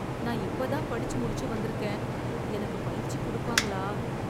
நான் இப்பதான் படிச்சு முடிச்சு வந்திருக்கேன், எனக்கு பயிற்சி குடுப்பாங்களா.